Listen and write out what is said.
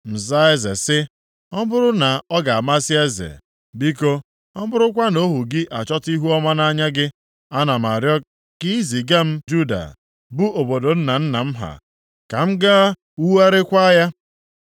ma zaa eze sị, “Ọ bụrụ na ọ ga-amasị eze, biko, ọ bụrụkwa na ohu gị achọta ihuọma nʼanya gị, ana m arịọ ka ị ziga m Juda, bụ obodo nna nna m ha, ka m gaa wugharịakwa ya.”